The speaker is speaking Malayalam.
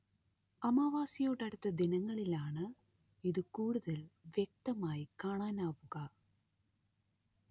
അമാവാസിയോടടുത്ത ദിനങ്ങളിലാണ് ഇത് കൂടുതൽ വ്യക്തമായി കാണാനാവുക